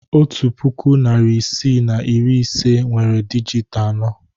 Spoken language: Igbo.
Otu puku, narị isii na iri ise nwere dijịt anọ.